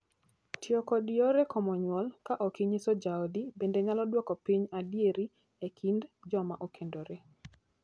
Tiyo kod yore komo nyuol ka ok inyiso jaodi bende nyalo duoko piny adieri e kind joma okendore.